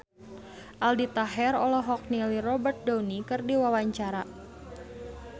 Aldi Taher olohok ningali Robert Downey keur diwawancara